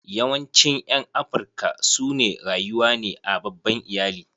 Yawancin ƴan Afrika su ne rayuwa ne a babban iyali.